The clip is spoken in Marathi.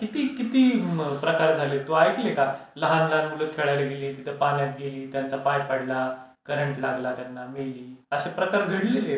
किती किती प्रकार झाले तू ऐकले का? लहान लहान मुलं खेळायला गेली, तिथे पाण्यात गेली त्यांचा पाय पडला, करंट लागला त्यांना, मेली. असे प्रकार घडलेले आहेत.